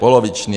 Poloviční.